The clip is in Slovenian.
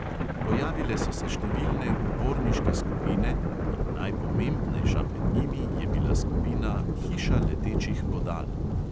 Pojavile so se številne uporniške skupine in najpomembnejša med njimi je bila skupina "hiša letečih bodal".